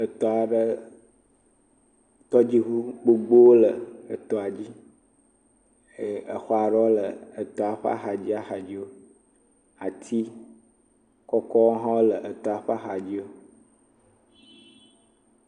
Tɔdziŋu gbogbo aɖewo su gbɔ ɖe tɔsisi ɖe dzi. Atiawo su gbɔ ɖe afima. Atiawo ƒe gbemumu vv le ɖe afi ma nyuie. Eye tɔdziŋua eɖewo le ʋi, eɖe le dzi eɖe le bran, eɖe hã le blu le efi ma. Eŋuwo hã pak ɖe emɔato emɔdodoa dzi le efi ma eye exɔtutua tse woxla teƒea.